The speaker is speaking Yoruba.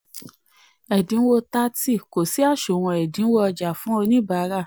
16. wọ́n fo owó 600 vas kúrò nínú onígbèsè onírúurú.